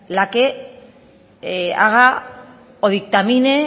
la que haga o dictamine